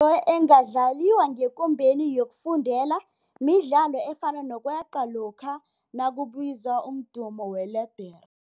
Imidlalo engadlaliwa ngekumbeni yokufundela midlalo efana nokweqa lokha nakubizwa umdumo weledere.